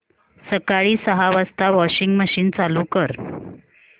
सकाळी सहा वाजता वॉशिंग मशीन चालू कर